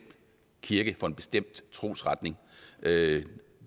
kirke for en bestemt trosretning det